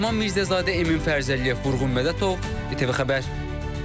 Mehman Mirzəzadə, Emin Fərzəliyev, Vurğun Mədətov, İTV Xəbər.